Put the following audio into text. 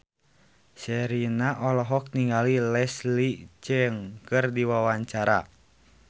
Sherina olohok ningali Leslie Cheung keur diwawancara